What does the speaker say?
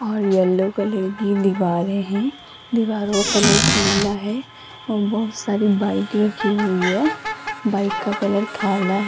और yellow colour की दिवारे हैं दीवारों कलर पीला है और बहुत सारी बाइक रखी हुई है बाइक का कलर काला --